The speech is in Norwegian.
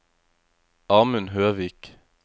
Amund Høvik